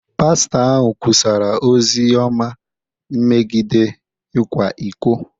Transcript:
Pastọ ahụ kwusara ozi ọma megide ịkwa iko.